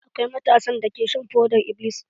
Akwai matasan dake shan fodar-iblis.